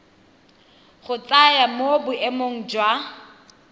go tsenya mo boemeng jwa